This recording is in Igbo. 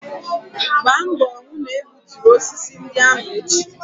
Gba mbọ hụ na egbuturu osisi ndị ahụ echi!